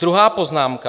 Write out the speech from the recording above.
Druhá poznámka.